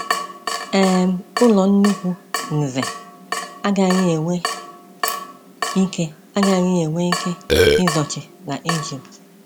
um Ụlọ nnukwu Nze agaghị enwe ike agaghị enwe ike izochi na Ijipt.